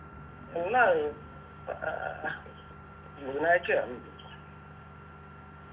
ആഹ് ബുധനാഴചയാന്ന്